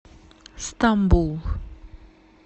стамбул